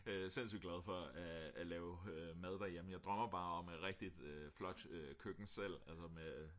sindssyg glad for at lave mad derhjemme jeg drømmer bare om et rigtigt flot køkken selv altså med